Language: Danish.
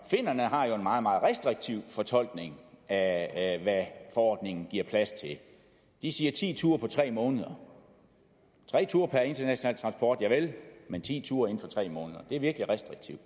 finnerne har jo en meget meget restriktiv fortolkning af hvad forordningen giver plads til de siger ti ture på tre måneder tre ture per international transport javel men ti ture inden for tre måneder det er virkelig restriktivt